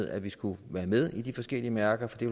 at vi skulle være med i de forskellige mærker for det